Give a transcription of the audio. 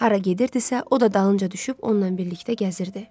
Hara gedirdisə, o da dalınca düşüb onunla birlikdə gəzirdi.